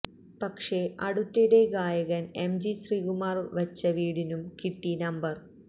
പക്ഷേ അടുത്തിടെ ഗായകന് എംജി ശ്രീകുമാര് വച്ച വീടിനും കിട്ടി നമ്പര്